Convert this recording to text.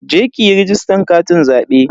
Je ki yi rajistan katin zabe.